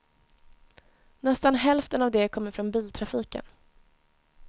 Nästan hälften av det kommer från biltrafiken.